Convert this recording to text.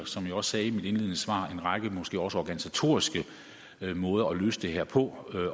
som jeg også sagde i mit indledende svar angiver en række måske også organisatoriske måder at løse det her på